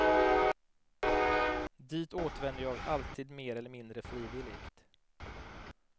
Dit återvänder jag alltid mer eller mindre frivilligt.